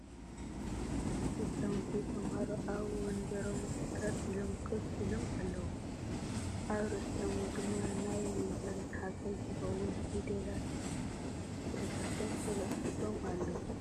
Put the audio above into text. ህፃዉንቲ ተማሃሮ ኣብ ወንበሮም ተር ኢሎም ኮፍ ኢሎም ኣልዉ ኣብ ርእሲኦም ድማ ናይ መምሃሪ ሓገዝ ዝከዉን ፊደላት ስእልታትን ተለጢፎም ኣለዉ።